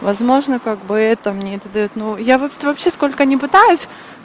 возможно как бы это мне это даёт но я вот вообще сколько ни пытаюсь